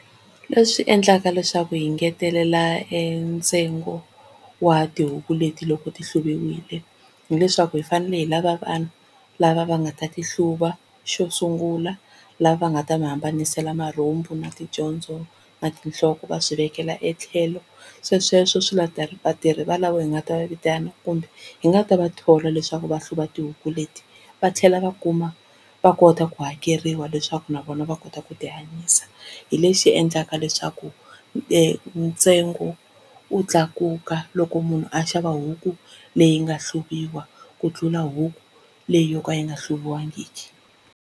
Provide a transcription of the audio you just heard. Leswi endlaka leswaku hi ngetelela e ntsengo wa tihuku leti loko ti hluviwile hileswaku hi fanele hi lava vanhu lava va nga ta ti hluva, xo sungula lava va nga ta mi hambanisela marhumbu na ticondzo na tinhloko va swi vekela etlhelo swesweswo, vatirhi vatirhi valavo hi nga ta va vitana kumbe hi nga ta va thola leswaku va hluva tihuku leti va tlhela va kuma va kota ku hakeriwa leswaku na vona va kota ku ti hanyisa hi lexi endlaka leswaku ntsengo wu tlakuka loko munhu a xava huku leyi nga hluviwa ku tlula huku leyi yo ka yi nga hluviwangi.